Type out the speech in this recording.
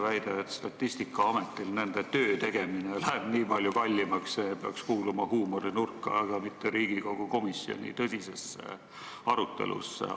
Väide, et Statistikaametil läheb töö tegemine nii palju kallimaks, peaks kuuluma huumorinurka, mitte kõlama Riigikogu komisjoni tõsises arutelus.